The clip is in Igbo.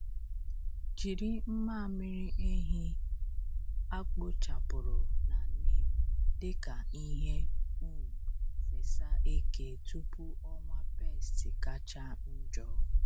Jiri mmamịrị ehi a kpochapụrụ na neem dị ka ihe um fesa eke tupu ọnwa pests kacha njọ.